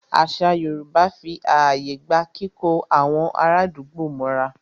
Àṣà Yorùbá fí ààyè gba kíkó àwọn ará àdúgbò mọ́ra.